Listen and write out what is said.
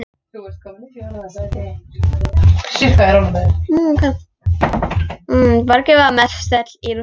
Borgin var mestöll í rústum.